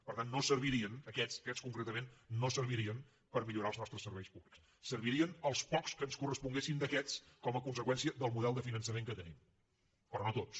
per tant no servirien aquests aquests concretament per millorar els nostres serveis públics servirien els pocs que ens corresponguessin d’aquests com a conseqüència del model de finançament que tenim però no tots